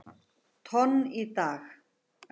tonn í dag.